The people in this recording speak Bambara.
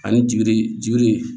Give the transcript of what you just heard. Ani jigi jigi